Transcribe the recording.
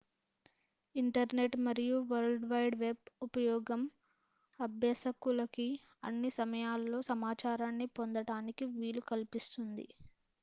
internet మరియు world wide web ఉపయోగం అభ్యసకులకి అన్ని సమయాల్లో సమాచారాన్ని పొందటానికి వీలు కల్పిస్తుంది